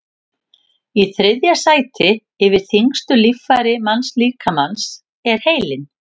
í þriðja sæti yfir þyngstu líffæri mannslíkamans er heilinn